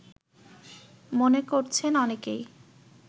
মনে করছেন অনেকেই